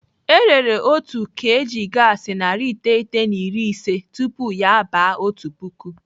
Erere otu kg gaasi narị iteghete na iri ise tupu ya aba otu puku.